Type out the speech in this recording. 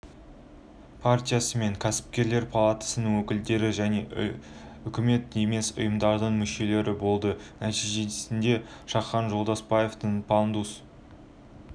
партиясы мен кәсіпкерлер палатасының өкілдері және үкіметтік емес ұйымдардың мүшелері болды нәтижесінде шахан жолдаспаевтың пандус